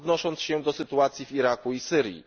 odnosząc się do sytuacji w Iraku i Syrii.